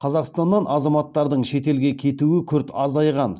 қазақстаннан азаматтардың шетелге кетуі күрт азайған